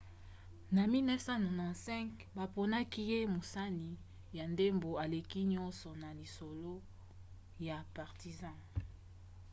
na 1995 baponaki ye mosani ya ndembo aleki nyonso na lisolo ya partizan